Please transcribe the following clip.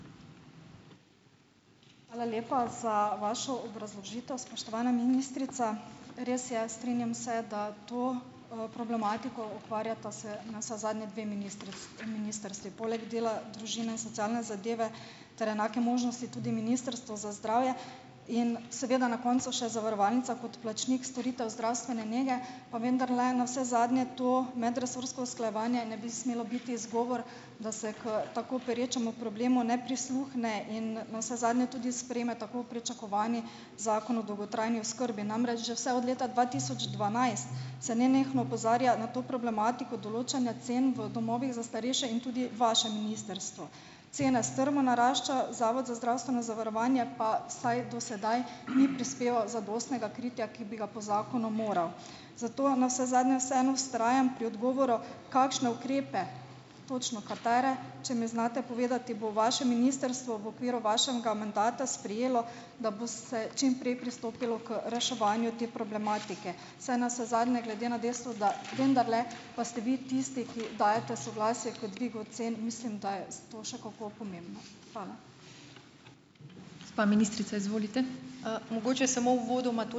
Hvala lepa za vašo obrazložitev, spoštovana ministrica. Res je, strinjam se, da to, problematiko, ukvarjata se, navsezadnje, dve ministrstvi. Poleg dela, družine in socialne zadeve ter enake možnosti tudi Ministrstvo za zdravje in seveda na koncu še zavarovalnica kot plačnik storitev zdravstvene nege, pa vendarle navsezadnje to medresorsko usklajevanje ne bi smelo biti izgovor, da se k tako perečemu problemu ne prisluhne in navsezadnje tudi sprejme tako pričakovani Zakon o dolgotrajni oskrbi. Namreč že vse od leta dva tisoč dvanajst se nenehno opozarja na to problematiko določanja cen v domovih za starejše in tudi vaše ministrstvo. Cene strmo naraščajo, Zavod za zdravstveno zavarovanje pa vsaj do sedaj ni prispeval zadostnega kritja, ki bi ga po zakonu moral. Zato navsezadnje vseeno vztrajam pri odgovoru, kakšne ukrepe, točno katere, če mi znate povedati, bo vaše ministrstvo v okviru vašega mandata sprejelo, da bo se čim prej pristopilo k reševanju te problematike. Saj navsezadnje glede na dejstvo, da vendarle pa ste vi tisti, ki dajete soglasje k dvigu cen, mislim, da je s to še kako pomembno. Hvala.